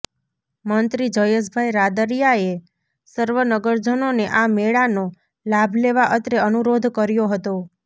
મંત્રી જયેશભાઇ રાદડિયાએ સર્વ નગરજનોને આ મેળાનો લાભ લેવા અત્રે અનુરોધ કર્યો હતો